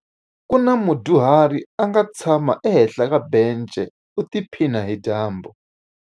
Ku na mudyuhari a nga tshama ehenhla ka bence u tiphina hi dyambu.